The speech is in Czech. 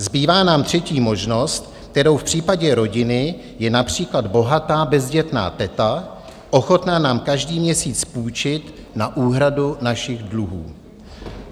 Zbývá nám třetí možnost, kterou v případě rodiny je například bohatá bezdětná teta ochotná nám každý měsíc půjčit na úhradu našich dluhů.